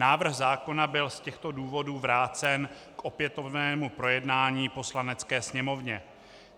Návrh zákona byl z těchto důvodů vrácen k opětovnému projednání Poslanecké sněmovně.